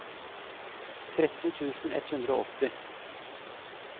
tretten tusen ett hundre og åtti